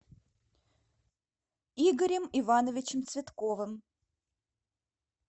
игорем ивановичем цветковым